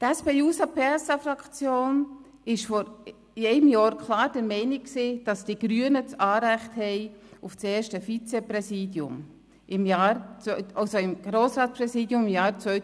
Die SP-JUSO-PSA-Fraktion war vor einem Jahr klar der Meinung, dass die Grünen Anrecht auf das Grossratspräsidium im Jahr 2019 und 2020 haben.